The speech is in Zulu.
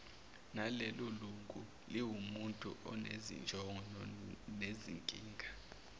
nalelolunguliwumuntu onezinjongo nezinkinga